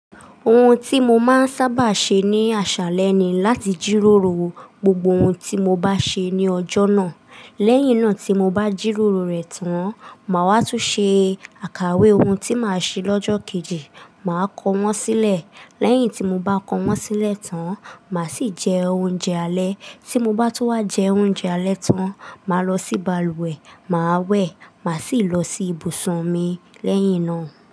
Ohun tí mo máa ń sábà ṣe ní aṣálẹ ni láti jíròrò gbogbo ohun tí mo bá ṣe ní ọjọ́ náà. Lẹ́yìn náà tí mo bá jíròrò rẹ̀ tán, màá wá tún ṣe àkàwé ohun tí màá ṣe lọ́jọ́ kejì, màá kọ wọ́n sílẹ̀. Lẹ́yìn tí mo bá kọ wọ́n sílẹ̀ tán, màá sì jẹ oúnjẹ alẹ́. Tí mo bá tun wá jẹ oúnjẹ alẹ́ tán, màá lọ sí balùwẹ̀, màá wẹ̀, màá sì lọ sí ibùsùn mi lẹ́yìn náà.